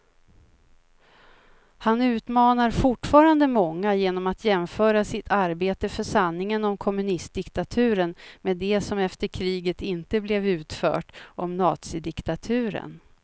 Han utmanar fortfarande många genom att jämföra sitt arbete för sanningen om kommunistdiktaturen med det som efter kriget inte blev utfört om nazidiktaturen.